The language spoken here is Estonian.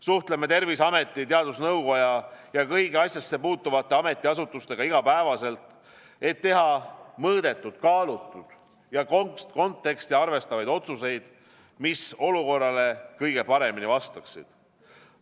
Suhtleme Terviseameti, teadusnõukoja ja kõigi asjasse puutuvate ametiasutustega igapäevaselt, et teha mõõdetud, kaalutud ja konteksti arvestavaid otsuseid, mis olukorrale kõige paremini vastaksid.